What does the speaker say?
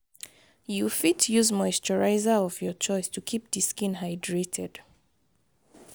you fit use moisturizer of your choice to keep di skin hydrated